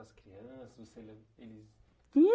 as crianças? Você eles. Hum.